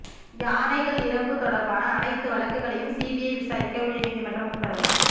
யானைகள் இறப்பு தொடா்பான அனைத்து வழக்குகளையும் சிபிஐ விசாரிக்க உயா்நீதிமன்றம் உத்தரவு